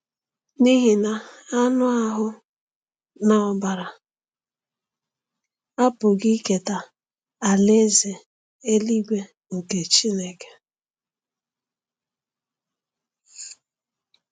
N’ihi na anụ ahụ́ na ọbara apụghị iketa Alaeze eluigwe nke Chineke.